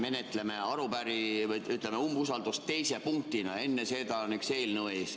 Eile ütles Riigikogu esimees Jüri Ratas, et menetleme umbusaldust teise punktina, enne seda on üks eelnõu ees.